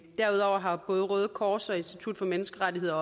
derudover har både røde kors og institut for menneskerettigheder